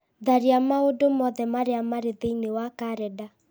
tharia maũndũ mothe marĩa marĩ thĩiniĩ wa karenda